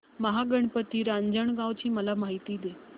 महागणपती रांजणगाव ची मला माहिती दे